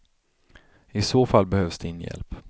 I så fall behövs din hjälp.